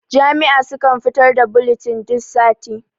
jami'a sukan fitar da bulitin duk sati